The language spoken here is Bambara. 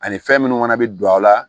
Ani fɛn minnu fana bɛ don aw la